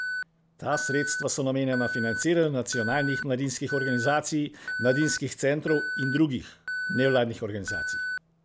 Ta sredstva so namenjena financiranju nacionalnih mladinskih organizacij, mladinskih centrov in drugih nevladnih organizacij.